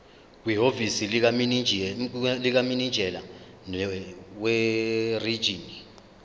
kwihhovisi likamininjela werijini